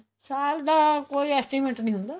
ਸਾਲ ਦਾ ਕੋਈ estimate ਨਹੀਂ ਹੁੰਦਾ